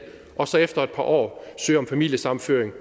og så efter et par år søge om familiesammenføring